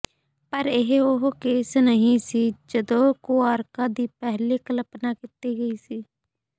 ਪਰ ਇਹ ਉਹ ਕੇਸ ਨਹੀਂ ਸੀ ਜਦੋਂ ਕੁਆਰਕਾਂ ਦੀ ਪਹਿਲੀ ਕਲਪਨਾ ਕੀਤੀ ਗਈ ਸੀ